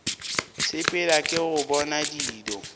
sepela ke go bona dilo